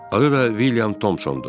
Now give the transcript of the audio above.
Adı da William Tomsondur.